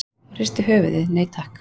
Hún hristi höfuðið, nei takk.